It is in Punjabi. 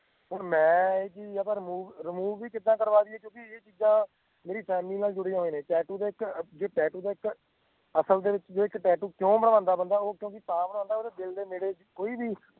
ਹੁਣ ਮੈਂ ਇਹ ਚੀਜ਼ ਅਗਰ remove remove ਵੀ ਕਿੱਦਾਂ ਕਰਵਾ ਦਇਏ ਕਿਉਂਕਿ ਇਹ ਚੀਜ਼ਾਂ ਮੇਰੀ family ਨਾਲ ਜੁੜੀਆਂ ਹੋਇਆਂ ਨੇ tattoo ਤਾਂ ਇੱਕ ਜੇ tattoo ਦਾ ਇੱਕ ਅਸਲ ਦੇ ਵਿਚ ਜੇ tattoo ਕਿਓਂ ਬਣਵਾਉਂਦਾ ਬੰਦਾ ਉਹ ਕਿਉਂਕਿ ਤਾਂ ਬਣਵਾਉਂਦਾ ਕਿਉਂਕਿ ਓਹਦੇ ਦਿਲ ਦੇ ਨੇੜੇ ਕੋਈ ਵੀ